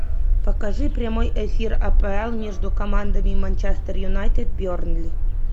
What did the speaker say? покажи прямой эфир апл между командами манчестер юнайтед бернли